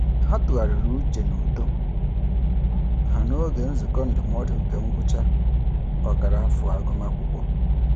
Ha tụgharịrị uche n'uto ha n'oge nzukọ ndụmọdụ nke ngwụcha ọkara afọ agụmakwụkwọ.